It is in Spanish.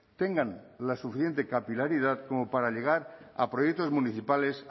tengan la suficiente capilaridad como para llegar a proyectos municipales